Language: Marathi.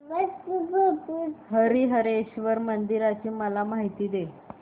हरीहरेश्वर मंदिराची मला माहिती दे